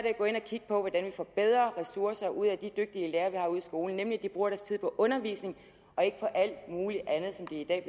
at gå ind og kigge på hvordan vi får bedre ressourcer ud af de dygtige lærere vi har ude i skolen nemlig at de bruger deres tid på undervisning og ikke på alt muligt andet som de i dag